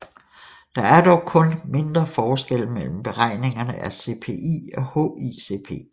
Der er dog kun mindre forskelle mellem beregningen af CPI og HICP